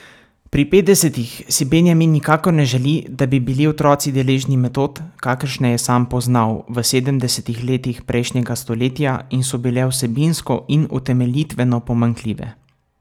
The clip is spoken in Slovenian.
Pri petdesetih si Benjamin nikakor ne želi, da bi bili otroci deležni metod, kakršne je sam poznal v sedemdesetih letih prejšnjega stoletja in so bile vsebinsko in utemeljitveno pomanjkljive.